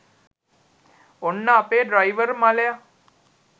ඔන්න අපේ ඩ්‍රයිවර් මලය